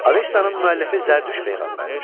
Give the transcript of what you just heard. Avestanın müəllifi Zərdüşt peyğəmbərdir.